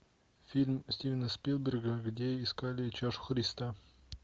фильм стивена спилберга где искали чашу христа